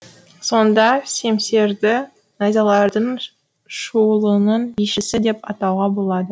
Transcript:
сонда семсерді найзалардың шуылының бишісі деп атауға болады